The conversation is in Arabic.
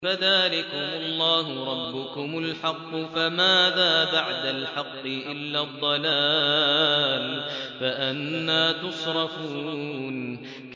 فَذَٰلِكُمُ اللَّهُ رَبُّكُمُ الْحَقُّ ۖ فَمَاذَا بَعْدَ الْحَقِّ إِلَّا الضَّلَالُ ۖ فَأَنَّىٰ تُصْرَفُونَ